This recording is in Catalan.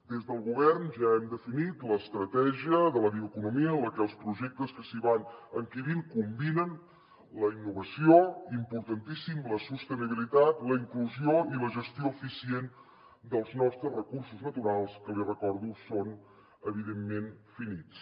des del govern ja hem definit l’estratègia de la bioeconomia en la qual els projectes que s’hi van encabint combinen la innovació importantíssim la sostenibilitat la inclusió i la gestió eficient dels nostres recursos naturals que li ho recordo són evidentment finits